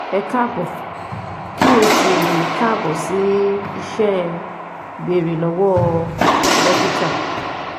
Ẹ káàbọ̀ kí o sì káàbọ̀ sí iṣẹ́ Béèrè Lọ́wọ́ Dókítà